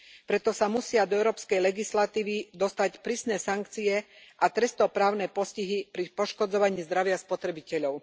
Preto sa musia do európskej legislatívy dostať prísne sankcie a trestnoprávne postihy pri poškodzovaní zdravia spotrebiteľov.